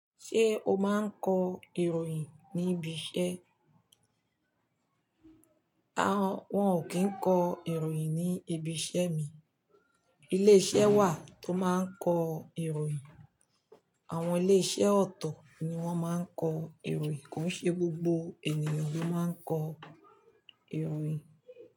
Ṣé o máa ń kọ ìròyìn ní ibi iṣẹ́? Àwọn, wọ́n ò kí ń kọ ìròyìn ní ibi iṣẹ́ mi. Ilé iṣẹ́ wà tó máa ń kọ ìròyìn. Àwọn ilé iṣẹ́ ọ̀tọ̀ ni wọ́n máa ń kọ ìròyìn, kò ṣe gbogbo ènìyàn ló máa ń kọ ìròyìn.